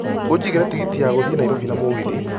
Ũnjĩgĩre tigiti ya gũthiĩ Nairobi na mũgithi